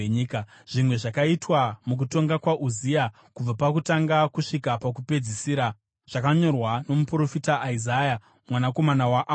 Zvimwe zvakaitwa mukutonga kwaUzia kubva pakutanga kusvika pakupedzisira zvakanyorwa nomuprofita Isaya mwanakomana waAmozi.